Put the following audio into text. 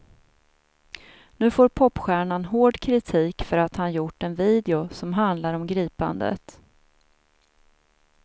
Nu får popstjärnan hård kritik för att han gjort en video som handlar om gripandet.